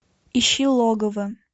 ищи логово